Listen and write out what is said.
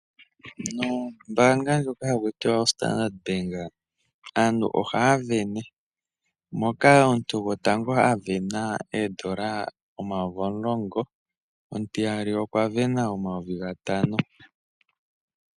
Nombanga ndjoka hakutiwa Standard Bank aantu ohavene, moka omuntu gotango avena ondola omayovi omulongo, omutiyali okwavena omayovi ngatano.